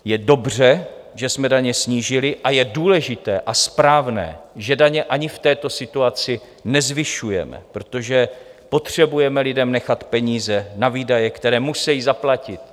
Je dobře, že jsme daně snížili, a je důležité a správné, že daně ani v této situaci nezvyšujeme, protože potřebujeme lidem nechat peníze na výdaje, které musejí zaplatit.